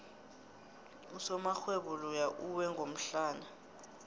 usomarhwebo loya uwe ngomhlana